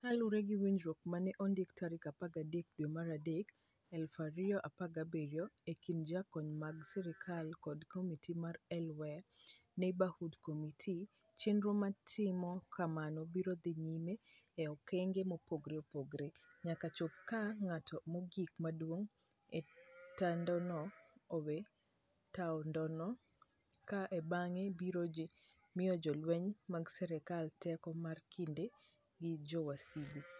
Kaluwore gi winjruok ma ne ondik tarik 13 dwe mar adek, 2017, e kind jokanyo mag sirkal kod Komiti mar Al-Waer Neighborhood Committee, chenro mar timo kamano biro dhi nyime e okenge mopogore opogore, nyaka chop kama ng'at mogik modong ' e taondno owe taondno, kae to bang'e ibiro mi jolweny mag sirkal teko mar kedo gi jowasigu.